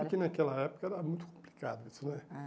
Sabe que naquela época era muito complicado isso, né? É